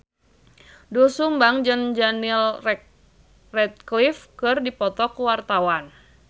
Doel Sumbang jeung Daniel Radcliffe keur dipoto ku wartawan